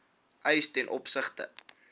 eis ten opsigte